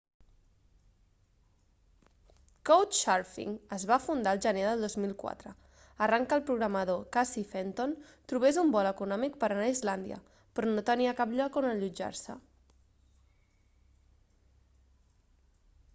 couchsurfing es va fundar el gener del 2004 arran que el programador casey fenton trobés un vol econòmic per anar a islàndia però no tenia cap lloc on allotjar-se